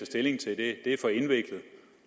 stilling til det er for indviklet